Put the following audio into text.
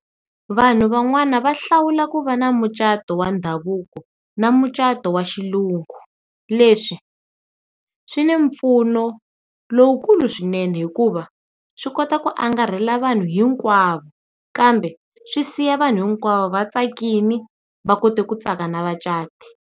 Vanhu van'wana va hlawula ku va na mucato wa ndhavuko na mucato wa xilungum, leswi swi na mpfuno lowukulu swinene hikuva swi kota ku angarhela vanhu hinkwavo kambe swi siya vanhu hinkwavo vatsakile va kota ku tsaka na vacati.